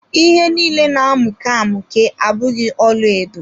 Ihe nille na-amuke amụke abụghị ọlaedo.